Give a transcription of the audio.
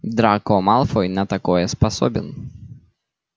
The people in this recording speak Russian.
драко малфой на такое способен